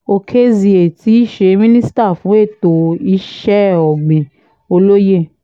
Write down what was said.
òkèzie tí í ṣe minister fún ètò iṣẹ́ ọ̀gbìn olóye a